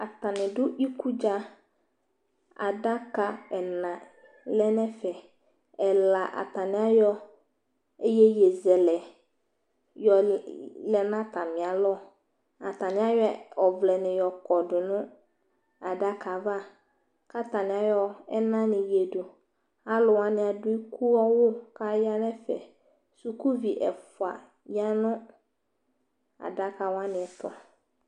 Atanɩ dʋ ikudza Adaka ɛla lɛ n'ɛfɛ: ɛla atanɩayɔ iyeyezɛlɛ yɔl lɛ n'atamɩalɔ, atanɩayɔ ɔvlɛnɩ yɔkɔdʋ nʋ adakaava K'atanɩayɔ ɛnanɩ wledu Alʋwanɩ ab'ikue li k'aya n'ɛfɛ, sukuvi ɛfʋa ya nʋ adakawanɩɛtʋ